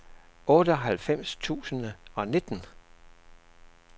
otteoghalvfems tusind og nitten